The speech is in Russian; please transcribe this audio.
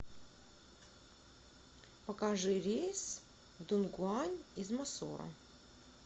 покажи рейс в дунгуань из мосоро